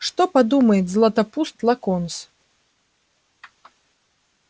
что подумает златопуст локонс